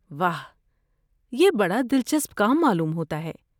واہ یہ بڑا دلچسپ کام معلوم ہوتا ہے